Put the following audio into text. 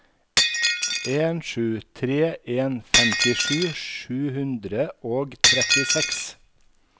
en sju tre en femtisju sju hundre og trettiseks